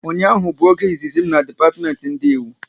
Ụnyaahụ bụ oge izizi m na depatiment ndị Ịwu